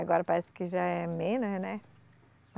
Agora parece que já é menos, né?